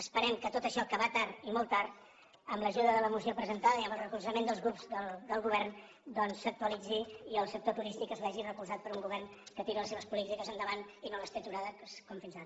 esperem que tot això que va tard i molt tard amb l’ajuda de la moció presentada i amb el recolzament dels grups del govern doncs s’actualitzi i el sector turístic es vegi recolzat per un govern que tira les seves polítiques endavant i no les té aturades com fins ara